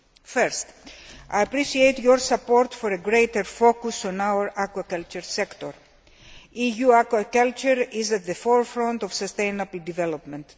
First, I appreciate your support for a greater focus on our aquaculture sector. EU aquaculture is at the forefront of sustainable development.